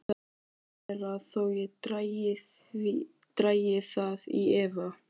Það má vera þó ég dragi það í efa.